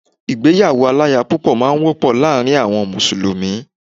Ìgbéyàwó aláya púpọ̀ máà ń wọ́pọ̀ láàrin àwọn mùsùlùmí